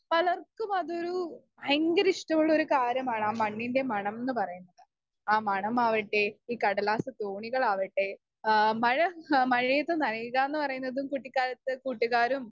speaker 2 പലർക്കും അതൊരു ഭയങ്കര ഇഷ്ട്ടള്ളൊരു കാര്യമാണ് ആ മണ്ണിന്റെ മണം ന്ന് പറയുന്നത് ആ മണം ആവട്ടെ ഈ കടലാസ് തോണികളാവട്ടെ ഏഹ് മഴ മഴയെത്ത് നനയുക്കാന്ന് പറയുന്നതും കുട്ടികാലത്ത് കൂട്ടുകാരും